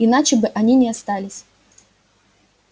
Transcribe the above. иначе они бы не остались